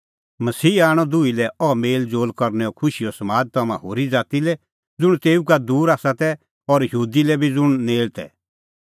मसीहा आणअ दुही लै अह मेल़ज़ोल़ करनैओ खुशीओ समाद तम्हां होरी ज़ाती लै ज़ुंण तेऊ का दूर आसा तै और यहूदी लै बी ज़ुंण नेल़ तै